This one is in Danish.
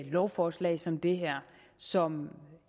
lovforslag som det her som